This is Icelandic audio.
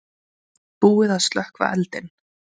Búið að slökkva eldinn